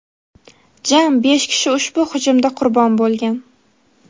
jami besh kishi ushbu hujumda qurbon bo‘lgan.